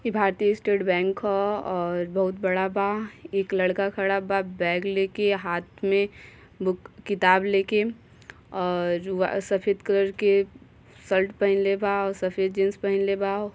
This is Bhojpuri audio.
ई भारतीय स्टेट बैंक ह और बहुत बड़ा बा। एक लड़का खड़ा बा बैग लेके हाथ में बुक- किताब ले के और आ- सफेद कलर के शर्ट पहेनले बा और सफेद जीन्स पहेनले बा।